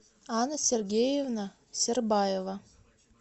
анна сергеевна сербаева